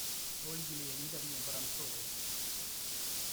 ольге леонидовне воронцовой